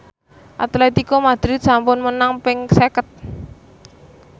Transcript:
Atletico Madrid sampun menang ping seket